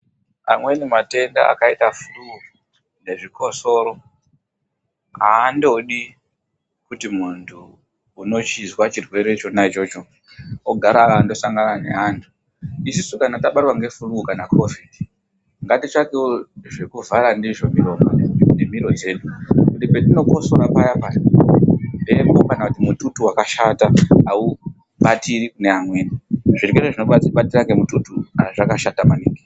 Amweni matenda akaita flue nezvikosoro andodi kuti muntu unochizwa chirwere chona ichocho ogara akasangana neantu isusu kana tabatwa neflue kana COVID Ngati tsvakewo zvekuvhara ndizvo miromo nemiro dzedu kuti petinokosora paya paya mhepo kana mututu wakashata aubatiri kune amweni zvirwere zvinobata nemututu zvakashata maningi.